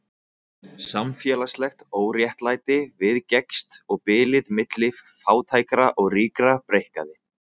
Samfélagslegt óréttlæti viðgekkst og bilið milli fátækra og ríkra breikkaði.